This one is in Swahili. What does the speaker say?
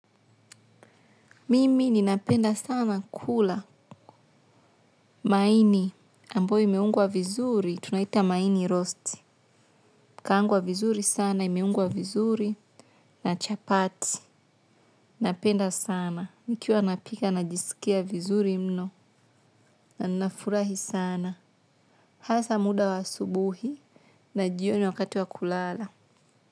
Mimi ninapenda sana kula maini ambayo imeungwa vizuri tunaita maini roast. Kaangwa vizuri sana imeungwa vizuri na chapati. Napenda sana. Nikiwa napika najisikia vizuri mno na nafurahi sana. Hasa muda wa asubuhi na jioni wakati wa kulala.